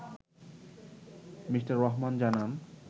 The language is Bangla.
মিঃ রহমান জানান